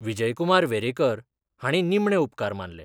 विजयकुमार वेरेकर हांणी निमणे उपकार मानले.